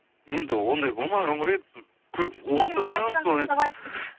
енді ондай болмаған ғой отырғанмын сол